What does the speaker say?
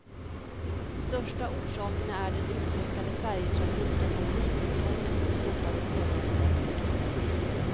Största orsakerna är den utökade färjetrafiken och visumtvånget som slopades förra året.